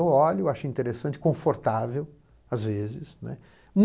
Eu olho, acho interessante, confortável, às vezes.